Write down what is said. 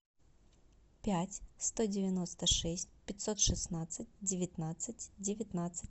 пять сто девяносто шесть пятьсот шестнадцать девятнадцать девятнадцать